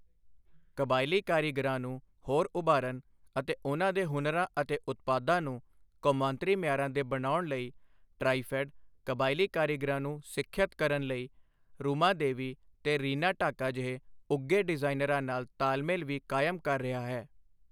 ਕਬਾਇਲੀ ਕਾਰੀਗਰਾਂ ਨੂੰ ਹੋਰ ਉਭਾਰਨ ਅਤੇ ਉਨ੍ਹਾਂ ਦੇ ਹੁਨਰਾਂ ਅਤੇ ਉਤਪਾਦਾਂ ਨੂੰ ਕੌਮਾਂਤਰੀ ਮਿਆਰਾਂ ਦੇ ਬਣਾਉਣ ਲਈ ਟਰਾਈਫ਼ੈੱਡ ਕਬਾਇਲੀ ਕਾਰੀਗਰਾਂ ਨੂੰ ਸਿੱਖਿਅਤ ਕਰਨ ਲਈ ਰੁਮਾ ਦੇਵੀ ਤੇ ਰੀਨਾ ਢਾਕਾ ਜਿਹੇ ਉੱਘੇ ਡਿਜ਼ਾਇਨਰਾਂ ਨਾਲ ਤਾਲਮੇਲ ਵੀ ਕਾਇਮ ਕਰ ਰਿਹਾ ਹੈ।